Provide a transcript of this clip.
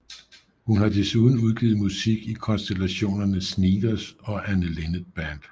Hun har desuden udgivet musik i konstellationerne Sneakers og Anne Linnet Band